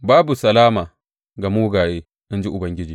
Babu salama ga mugaye in ji Ubangiji.